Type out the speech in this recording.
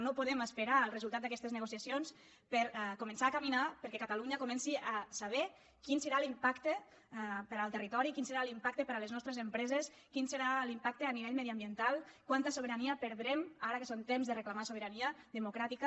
no podem esperar al resultat d’aquestes negociacions per a començar a caminar perquè catalunya comenci a saber quin serà l’impacte per al territori quin serà l’impacte per a les nostres empreses quin serà l’impacte a nivell mediambiental quanta sobirania perdrem ara que són temps de reclamar sobirania democràtica